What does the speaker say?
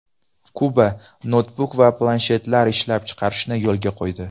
Kuba noutbuk va planshetlar ishlab chiqarishni yo‘lga qo‘ydi.